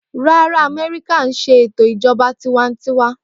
Rárá Amẹ́ríkà ńṣe ètò Ìjọba tiwańtiwa.